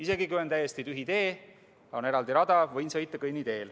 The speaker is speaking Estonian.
Isegi kui tee on täiesti tühi ja on eraldi rada, võin sõita kõnniteel.